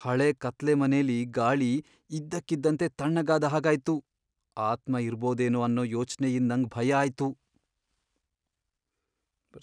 ಹಳೆ ಕತ್ಲೆ ಮನೆಲಿ ಗಾಳಿ ಇದ್ದಕ್ಕಿದ್ದಂತೆ ತಣ್ಣಗಾದ್ ಹಾಗಾಯ್ತು, ಆತ್ಮ ಇರಬೋದೇನೋ ಅನ್ನೋ ಯೋಚ್ನೆ ಯಿಂದ್ ನಂಗ್ ಭಯ ಆಯ್ತು.